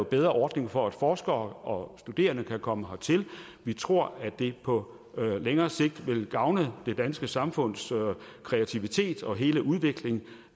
bedre ordning for at forskere og studerende kan komme hertil vi tror at det på længere sigt vil gavne det danske samfunds kreativitet og hele udvikling